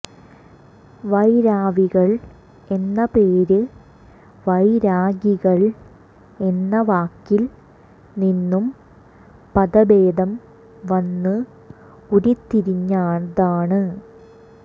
വൈരാവികൾ എന്ന പേര് വൈരാഗികൾ എന്ന വാക്കിൽ നിന്നും പദഭേദം വന്ന് ഉരിത്തിരിഞ്ഞതാണ്